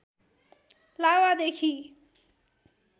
लावादेखि